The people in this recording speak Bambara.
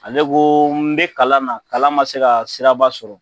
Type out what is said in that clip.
Ale ko n be kalan na kalan ma se ka siraba sɔrɔ